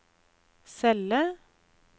celle